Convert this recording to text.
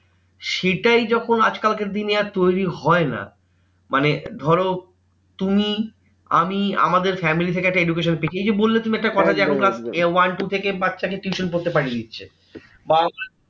সেটাই যখন আজকালকার দিনে আর তৈরী হয় না মানে ধরো তুমি আমি আমাদের family থেকে একটা education শেখে। এই যে বললে তুমি একটা কথা যে এখন কার one two থেকে বাচ্চাকে tuition পড়তে পাঠিয়ে দিচ্ছে। বাবা মা